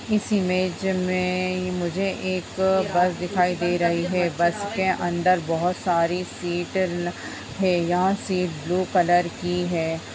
इस इमेज में मुझे एक बस दिखाई दे रही है बस के अंदर बहुत सारी सीट हैं यहां सीट ब्लू कलर की है।